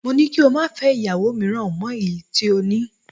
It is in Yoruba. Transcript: Mo ni kí o má fẹ́ ìyàwó mìíràn mọ èyí tí o ní